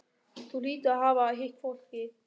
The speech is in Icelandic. Þú hlýtur að hafa hitt fólkið.